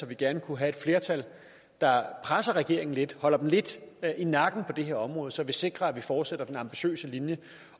vi gerne kunne få et flertal der presser regeringen lidt holder dem lidt i nakken på det her område så vi sikrer at vi fortsætter den ambitiøse linje